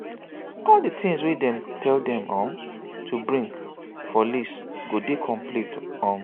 all di things wey dem tell dem um to bring for list go dey complete um